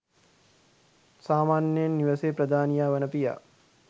සාමාන්‍යයෙන් නිවෙසේ ප්‍රධානියා වන පියා